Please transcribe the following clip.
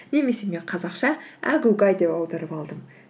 немесе мен қазақша әгугай деп аударып алдым